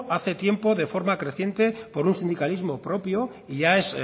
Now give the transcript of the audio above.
hace tiempo de forma creciente por un sindicalismo propio y ya es